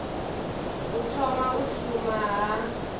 u thoma u shuma ha